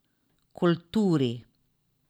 Kulturi.